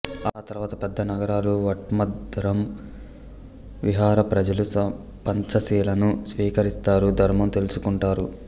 ఆ తరువాత పెద్ద నగరాలు వట్ధమ్మరం విహార ప్రజలు పంచశీలను స్వీకరిస్తారు ధర్మం తెలుసుకుంటారు